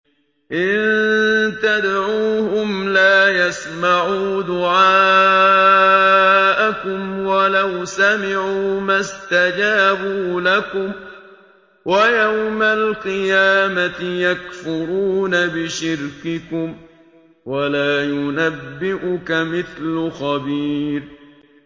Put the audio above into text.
إِن تَدْعُوهُمْ لَا يَسْمَعُوا دُعَاءَكُمْ وَلَوْ سَمِعُوا مَا اسْتَجَابُوا لَكُمْ ۖ وَيَوْمَ الْقِيَامَةِ يَكْفُرُونَ بِشِرْكِكُمْ ۚ وَلَا يُنَبِّئُكَ مِثْلُ خَبِيرٍ